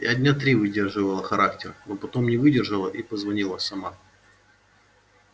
я дня три выдерживала характер но потом не выдержала и позвонила сама